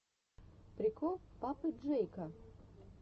прикол папы джейка